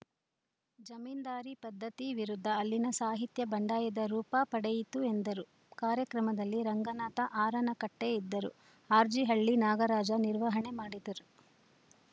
ಜಮೀನ್ದಾರಿ ಪದ್ಧತಿ ವಿರುದ್ಧ ಅಲ್ಲಿನ ಸಾಹಿತ್ಯ ಬಂಡಾಯದ ರೂಪ ಪಡೆಯಿತು ಎಂದರು ಕಾರ್ಯಕ್ರಮದಲ್ಲಿ ರಂಗನಾಥ ಆರನಕಟ್ಟೆಇದ್ದರು ಆರ್‌ಜಿಹಳ್ಳಿ ನಾಗರಾಜ ನಿರ್ವಹಣೆ ಮಾಡಿದರು